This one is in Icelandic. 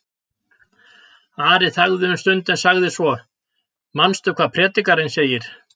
Ari þagði um stund en sagði svo: Manstu hvað Predikarinn segir?